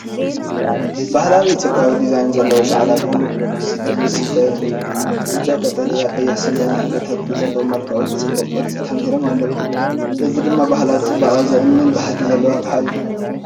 ባህላዊ ኢትዮጵያዊ ዲዛይን ዘለዎ ጻዕዳ ቡን ይስተየሉን። ብጫ፡ ቀጠልያ፡ ቀይሕን ሰማያውን ሕብርታት ብጽቡቕ መልክዑን ብጽቡቕ ቅርጺ ተደሚሮም ኣለዉ። እዚ ድማ ባህላዊ ጽባቐ ዘእምን ባህጊ ዘለዎ ኣቕሓ እዩ።